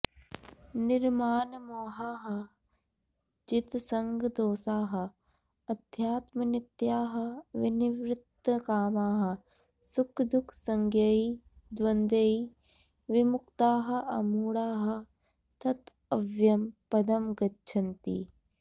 निर्मानमोहाः जितसङ्गदोषाः अध्यात्मनित्याः विनिवृत्तकामाः सुखदुःखसञ्ज्ञैः द्वन्द्वैः विमुक्ताः अमूढाः तत् अव्ययं पदं गच्छन्ति